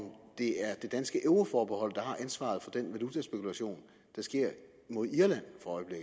det er det danske euroforbehold der har ansvaret for den valutaspekulation der sker mod irland